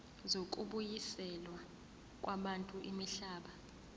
zokubuyiselwa kwabantu imihlaba